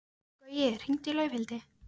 Gaui, hringdu í Laufhildi.